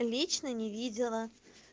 лично не видела